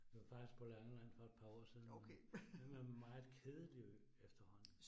Vi var faktisk på Langeland for et par år siden. Meget kedelig ø efterhånden